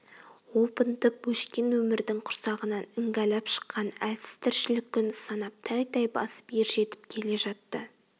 опынтып өшкен өмірдің құрсағынан іңгәлап шыққан әлсіз тіршілік күн санап тәй-тәй басып ержетіп келе жатты